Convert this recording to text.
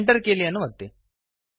Enter ಕೀಲಿಯನ್ನು ಒತ್ತಿರಿ